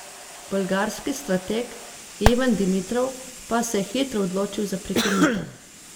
Bolgarski strateg Ivan Dimitrov pa se je hitro odločil za prekinitev.